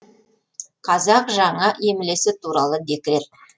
қазақ жаңа емлесі туралы декрет